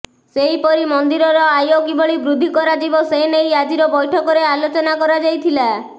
ସେହିପରି ମନ୍ଦିରର ଆୟ କିଭଳି ବୃଦ୍ଧି କରାଯିବ ସେ ନେଇ ଆଜିର ବୈଠକରେ ଆଲୋଚନା କରାଯାଇଥିଲା